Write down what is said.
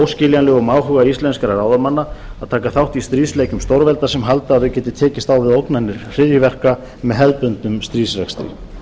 óskiljanlegum áhuga íslenskra ráðamanna að taka þátt í stríðsleikjum stórvelda sem halda að við getum tekist á við ógnanir hryðjuverka með hefðbundnum stríðsrekstri